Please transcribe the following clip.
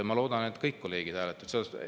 Ma loodan, et kõik kolleegid hääletavad poolt.